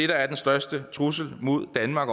der er den største trussel mod danmark